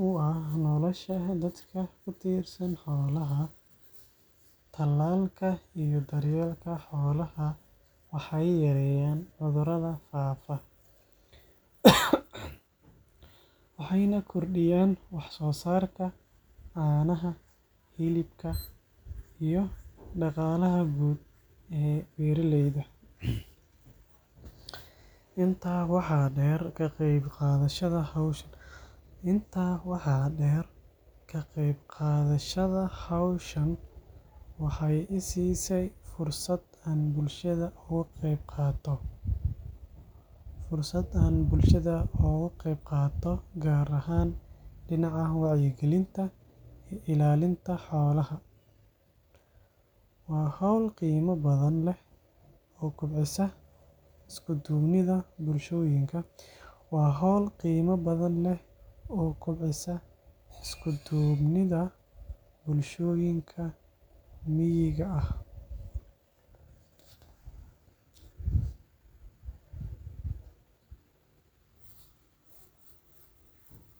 kartaa nolosha carruurta. Talaalka ayaa ka hortaga cuduro halis ah oo caruur badan u keena dhimasho ama xanuun daba-dheeraada. Marka carruurta la tallaalo, waxay helayaan difaac ka hortagaya cudurada, taasoo ka dhigaysa inay caafimaad qabaan oo ay si fiican u koraan. Intaa waxaa dheer, talaalka ayaa ka hortaga in cuduradaasi faafaan bulshada dhexdeeda, sidaas darteed waxay ka caawisaa in bulsho caafimaad qabta la dhiso. Waxaan dareemayaa masuuliyad weyn oo ah in aan ka qayb qaato hawshan, si aan u caawiyo bulshada iyo mustaqbalka carruurteena. Wacyigelinta bulshada iyo fahamka muhiimadda talaalka ayaa sidoo kale muhiim u ah, si qof walba uu u fahmo faa’iidada tallaalka. Ugu dambeyn, ka qayb qaadashada hawshan waa talaabo wanaagsan oo lagu taageerayo caafimaadka guud iyo horumarka bulshada. Waxaa muhiim ah in qof walba uu gacan ka geysto hawshan si aan u helno bulsho caafimaad leh oo horumarsan.